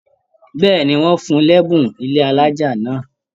Bẹ́ẹ̀ni, wọn fún l'ẹbùn ilé alájá náà.